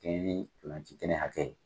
Ka kɛɲɛ ni ntolan ci kɛnɛ hakɛ ye.